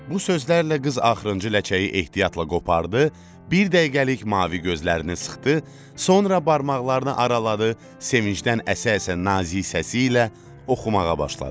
Bu sözlərlə qız axırıncı ləçəyi ehtiyatla qopardı, bir dəqiqəlik mavi gözlərini sıxdı, sonra barmaqlarını araladı, sevinçdən əsə-əsə nazik səsi ilə oxumağa başladı.